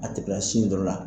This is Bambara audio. A tɛ kila sin dɔ la.